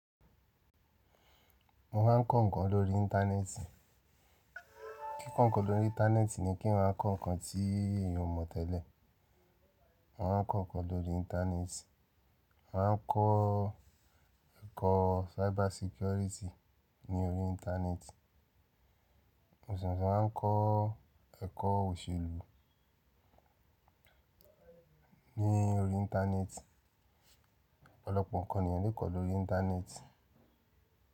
Mo maa ń kọ ǹkan lórí Íńtánẹ́ẹ̀tì. Kíkọ ǹkan lórí Íńtánẹ́ẹ̀tì ni kí eyan kọ ǹkan tí èèyàn mo tẹ́lẹ̀. Mo ń kọ ǹkan lórí Íńtánẹ́ẹ̀tì, mo maa ń kọ ẹ̀kọ́ cyber security ní orí Íńtánẹ́ẹ̀tì. Mo sese waa ń kọ ẹ̀kọ́ òṣèlú ní orí Íńtánẹ́ẹ̀tì. Ọ̀pọ̀lọpọ̀ ǹkan ni èèyàn le kọ lórí Íńtánẹ́ẹ̀tì.